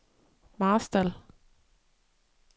Marstal